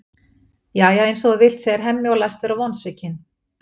Jæja, eins og þú vilt, segir Hemmi og læst vera vonsvikinn.